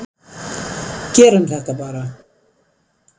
Gerum þetta bara!